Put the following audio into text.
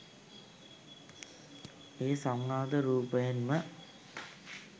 එය සංවාද රූපයෙන්ම